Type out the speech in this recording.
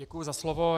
Děkuji za slovo.